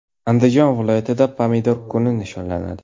Andijon viloyatida Pomidor kuni nishonlanadi.